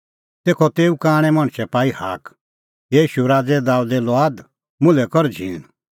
तेखअ तेऊ कांणै मणछै पाई हाक हे ईशू राज़ै दाबेदे लुआद मुल्है कर झींण